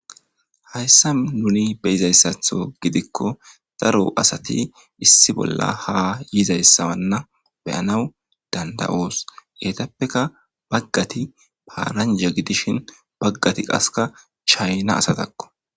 hayssa nuni beyizayssatho gidikko daro asati issi bolla ha yizayssawanna beyanaw danda7oos heetappeka baggati paaranja gidishin baggati qaska chayna asatakko